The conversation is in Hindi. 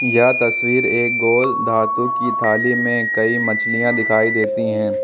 यह तस्वीर एक गोल धातु की थाली में कई मछलियां दिखाई देती हैं।